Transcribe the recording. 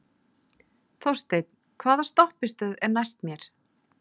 Þorsteinn, hvaða stoppistöð er næst mér?